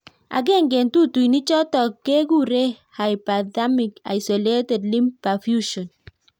Agenge eng' tetutik chutok kekuree hyperthermic isolated limb perfusion.